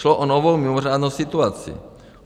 Šlo o novou mimořádnou situaci.